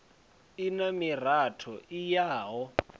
i na miratho i yaho